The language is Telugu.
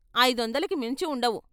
ఐదొందలకి మించి ఉండవు.